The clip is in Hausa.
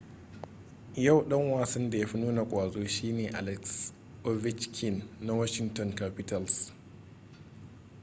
yau dan wasan da ya fi nuna ƙwazo shi ne alex ovechkin na washinton capitals